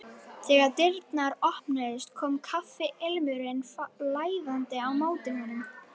Þegar dyrnar opnuðust kom kaffiilmurinn flæðandi á móti honum.